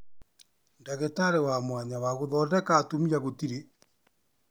Ndagĩtarĩ wa mwanya wa guthondeka atumia gũtirĩ